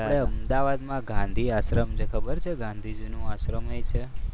આપણે અમદાવાદમાં ગાંધી આશ્રમ છે. ખબર છે? ગાંધીજીનો આશ્રમ છે.